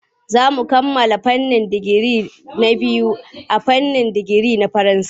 Za mu kammala karatun digiri na biyu a fannin nazarin Faransanci.